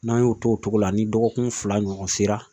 N'an y'o to o cogo la ni dɔgɔkun fila ɲɔgɔn sera